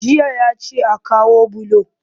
Jiya ya ce a kawo bulo